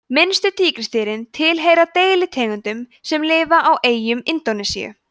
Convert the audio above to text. minnstu tígrisdýrin tilheyra deilitegundum sem lifa á eyjum indónesíu